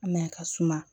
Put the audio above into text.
Mɛ a ka suma